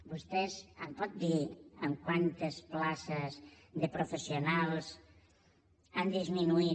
vostès em pot dir en quantes places de professionals han disminuït